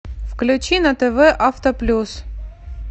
включи на тв авто плюс